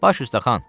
Baş üstə xan.